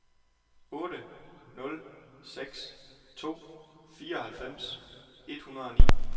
otte nul seks to fireoghalvfems et hundrede og ni